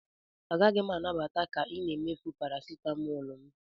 Agaghị m anabata ka ị na-emefu parasitamol m